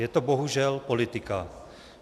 Je to bohužel politika.